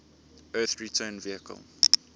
earth return vehicle